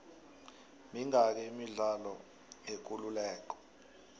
mingaki imidlalo yekuleleko